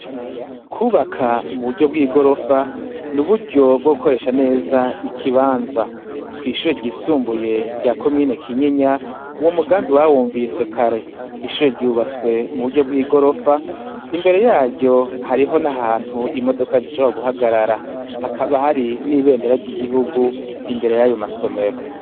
Kubaka muburyo bwigorofa ni uburyo bwo gukoresh neza ikibanza . Kw'ishure ry'isumbuye rya komine kinyinya uwo mugambi bawumvise kare, ishure ryubatswe muburyo bwigorofa , imbere yaryo hariho nahantu imodoka zishobora guhagarara, Hakaba hari nibendera ry’igihugu imbere yayo masomero.